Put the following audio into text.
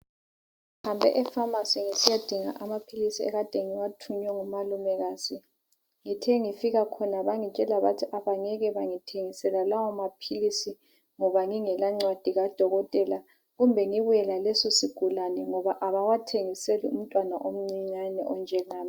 Ngihambe efamasi ngisiyadinga amaphilisi ekade ngiwathunywe ngumalumekazi. Ngithe ngifika khona bangitshela bathi abangeke bangithengisela lawo maphilisi ngoba ngingelancwadi kadokotela, kumbe ngibuye laleso sigulane ngoba abawathengiseli umntwana omncinyane onjengami.